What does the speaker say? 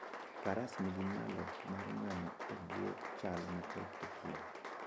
Faras nigi nyalo mar nano e bwo chal matek e thim.